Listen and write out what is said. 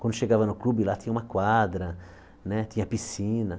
Quando chegava no clube, lá tinha uma quadra, né tinha piscina.